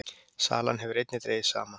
Sala hefur einnig dregist saman